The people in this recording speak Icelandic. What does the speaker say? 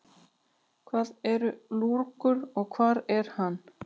Hvað er lurgur og hvar er hann?